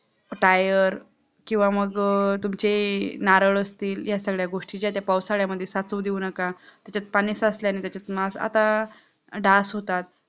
tier किंवा मग तुमचे नारळ असतील या सगळ्या गोष्टीचा त्या पावसाळ्यामध्ये साठऊ देऊ नका, त्याच्यात पाणी साचल्याने त्याच्यात मास, आता डास होतात